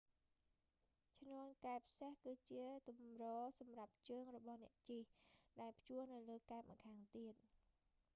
ឈ្នាន់កែបសេះ គឺជាទម្រសម្រាប់ជើងរបស់អ្នកជិះ ដែលព្យួរនៅលើកែបម្ខាងទៀត